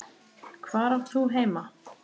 Hvar átt þú heima?